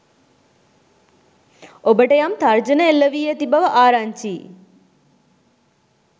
ඔබට යම් තර්ජන එල්ල වී ඇති බව ආරංචියි.